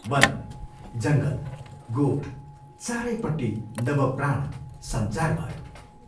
वन, जङ्गल, गोठ चारैपट्टि नव प्राण संचार भयो।